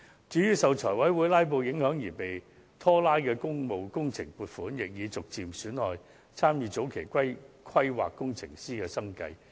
至於受財委會"拉布"影響而被拖延的工務工程亦陸續出現問題，嚴重影響參與前期規劃工程師的生計。